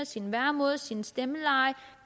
sin væremåde sit stemmeleje